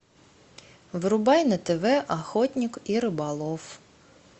врубай на тв охотник и рыболов